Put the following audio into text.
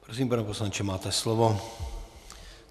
Prosím, pane poslanče, máte slovo.